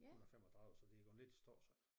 135 så det er gået lidt i stå så